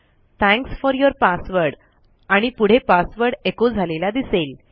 thanks for your password आणि पुढे password echo झालेला दिसेल